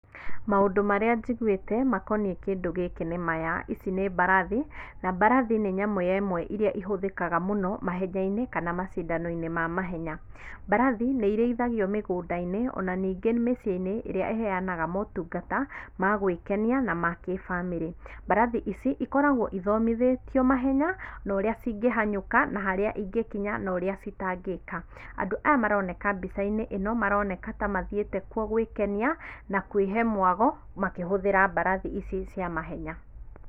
Maũndũ marĩa njigũĩte makoniĩ kĩndũ gĩkĩ nĩ maya, ici nĩ mbarathi na mbarathi nĩ nyamũ ya ĩmwe iria ĩhũthĩkaga mũno mahenyainĩ kana macindainĩ ma mahenya. Mbarathi nĩ ĩrĩithagio mĩgũndainĩ ona ningĩ mĩciĩnĩ ĩrĩa ĩheanaga matungata ma gwĩkenia na makĩbamĩrĩ. Mbarathi ici ikoragwo ĩthomithĩtio mahenya na ũria cingĩhanyũka na harĩa ĩngĩkinya na ũrĩa citangĩka. Andũ aya maroneka mbicainĩ ĩno maroneka ta mathiĩte kuo gwĩkenia na kwĩhe mwago makĩhũthĩra mbarathi ici cia mahenya.